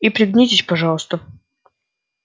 и пригнитесь пожалуйста